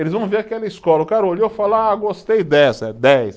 Eles vão ver aquela escola, o cara olhou e fala, ah, gostei dessa, é dez.